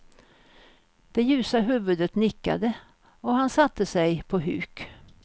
Det ljusa huvudet nickade, och han satte sig på huk.